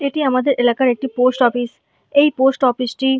এটি আমাদের এলাকার পোস্ট অফিস এই পোস্ট অফিস টি--